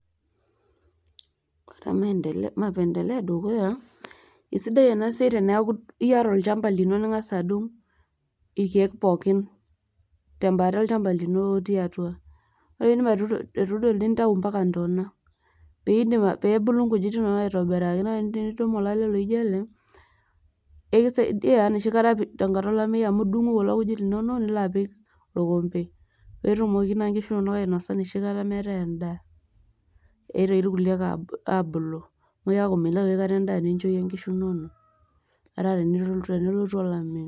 esidai ena siai eneaku iyata olchamba lino lingasa adung ilkeek poookin tembata olchamba lino otii atua wore pindip atuturo nintayu mpaka ntona pebulu nkujit inonok aitobiraki wore pituum olale laijio ele ekisaidia tenkata olameyu amu idung'u kulo kujit linonok nilo apiik olkompe petumoki nkishu inonok ainosa enoshi kata metaii endaa pitoki ilkuliee abulu amu milau aikata endaa nibjo nkishu nonok tenkata olameyu